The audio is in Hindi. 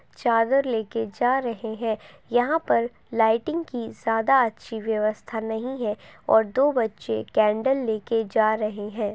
चादर लेके जा रहे हैं। यहाँ पर लाइटिंग की ज्यादा अच्छी व्यवस्था नहीं है और दो बच्चे कैन्डल लेके जा रहे हैं।